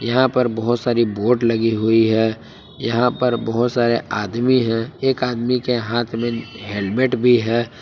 यहां पर बहुत सारी बोड लगी हुई है यहां पे बहुत सारे आदमी हैं एक आदमी के हाथ में हेलमेट भी है।